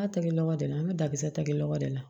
N'a tɛgɛ lɔgɔ de la an bɛ dakisɛ tɛgɛ lɔgɔ de la